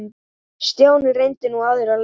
Stjáni reyndi nú aðra leið.